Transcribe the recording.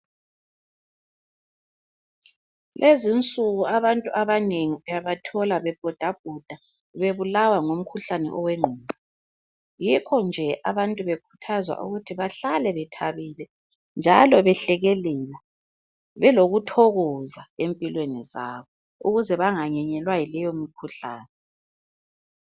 Lezi nsuku abantu abanengi uyabathola bebhodabhoda bebulawa ngumkhuhlani owengqondo. Yikho nje abantu bekhuthazwa ukuthi bahlale bethabile njalo behlekelela. Belokuthokoza empilweni zabo ukuze banganyenyelwa yileyo mikhuhlane.